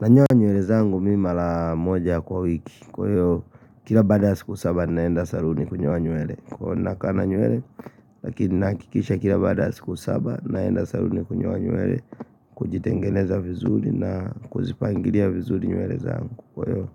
Nanyoa nywele zangu mi mara moja kwa wiki Kwa hiyo kila baada ya siku saba naenda saluni kunyoa nywele Kwa nakaa na nywele Lakini nahakikisha kila baada ya siku saba naenda saluni kunyoa nywele, Kujitengeneza vizuri na kuzipangilia vizuri nywele zangu Kwa hiyo